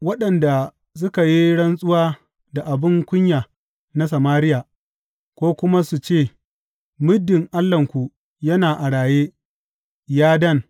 Waɗanda suka yi rantsuwa da abin kunya na Samariya, ko kuma su ce, Muddin allahnku yana a raye, ya Dan,’